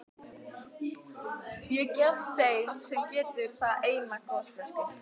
Ég gef þeim sem getur það eina gosflösku.